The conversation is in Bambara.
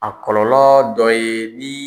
A kɔlɔlɔ dɔ ye ni.